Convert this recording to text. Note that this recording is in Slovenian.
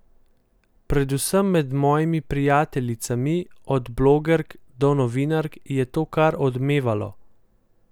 Predvsem med mojimi prijateljicami, od blogerk do novinark, je to kar odmevalo.